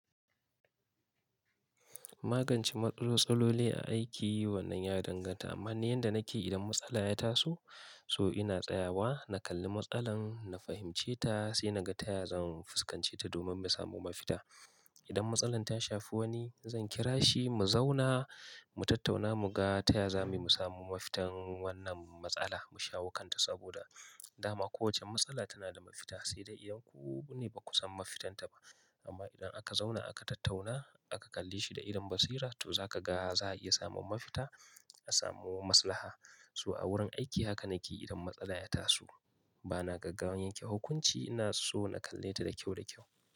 Magance matsaloli a aiki wannan ya danganta, amma ne yanda nake idan matsala ya taso, so ina tsayawa, na kalli matsalar, na fahimce ta sai na ga taya zan fuskance ta domin mu samu mafita. Idan matsalar ta shafi wani, zan kira shi mu zauna, mu tattauna, mu ga taya zamu samu mafitan wannan matsala, mu shawo kanta. Saboda dama kowace matsala tana da mafita, sai dai iyan ku ne ba ku san mafitanta ba. Amma idan aka zauna aka tattauna, aka kalli shi da irin basira, to zaka ga za a iya samun mafita, a samo maslaha. So a wurin aiki haka nake idan matsala ya taso. Ba na gaggawan yanke hukunci, na so na kalle ta da kyau da kyau.